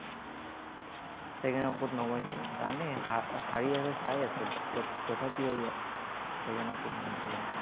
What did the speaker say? Second half ত নমাইছে। জানেই, হাৰি আছে, চাই আছে। But তথাপিও ইয়াক second half ত নমাইছে ইয়াক।